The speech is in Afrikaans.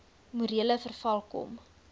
morele verval kom